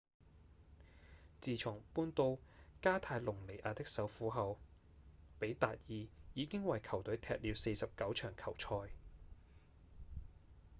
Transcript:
自從搬到加泰隆尼亞的首府後比達爾已經為球隊踢了49場球賽